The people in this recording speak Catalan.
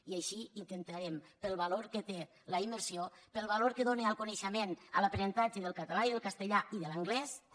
i així intentarem pel valor que té la immersió pel valor que dóna al coneixement a l’aprenentatge del català i del castellà i de l’anglès també